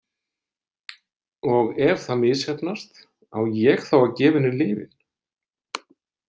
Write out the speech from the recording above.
Og ef það misheppnast, á ég þá að gefa henni lyfin?